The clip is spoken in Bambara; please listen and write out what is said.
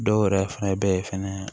Dɔw yɛrɛ fana bɛ yen fana